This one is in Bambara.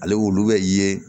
Ale wolo bɛ ye